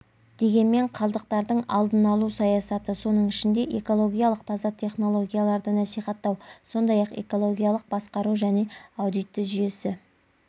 дегенмен қалдықтардың алдын алу саясаты соның ішінде экологиялық таза технологияларды насихаттау сондай-ақ экологиялық басқару және пен аудиті жүйесі